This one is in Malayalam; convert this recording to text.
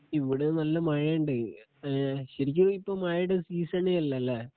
ഇവിടെ നല്ല മഴ ഉണ്ട് . ശരിക്ക് ഇപ്പോ മഴയുടെ ഒരു സീസൺ അല്ല ലേ?